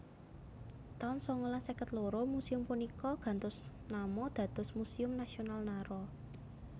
taun sangalas seket loro Museum punika gantos nama dados Museum Nasional Nara